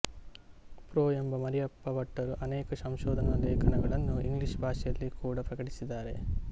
pro M Mariyappa ಭಟ್ಟರು ಅನೇಕ ಸಂಶೋಧನಾ ಲೇಖನಗಳನ್ನು ಇಂಗ್ಲಿಷ್ ಭಾಷೆಯಲ್ಲಿ ಕೂಡಾ ಪ್ರಕಟಿಸಿದ್ದಾರೆ